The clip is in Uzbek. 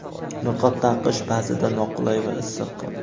Niqob taqish ba’zida noqulay va issiq.